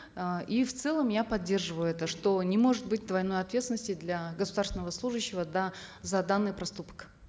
э и в целом я поддерживаю это что не может быть двойной ответственности для государственного служащего да за данный проступок